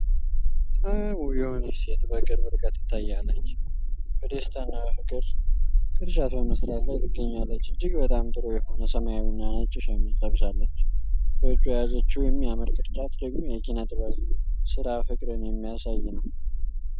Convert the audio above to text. በጣም ውብ የሆነች ሴት በቅርብ ርቀት ትታያለች። በደስታና በፍቅር ቅርጫት በመስራት ላይ ትገኛለች። እጅግ በጣም ጥሩ የሆነ ሰማያዊና ነጭ ሸሚዝ ለብሳለች፤ በእጇ የያዘችው የሚያምር ቅርጫት ደግሞ የኪነ ጥበብ ሥራ ፍቅርን የሚያሳይ ነው።